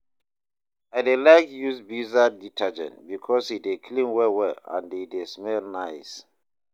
I dey like use viva detergent bikos e dey clean well well and e dey smell nice